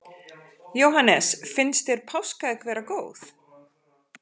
Jóhannes: Finnst þér páskaegg vera góð?